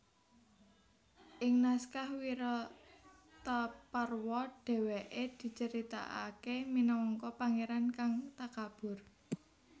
Ing naskah Wirataparwa dhéwékè dicaritakaké minangka pangéran kang takabur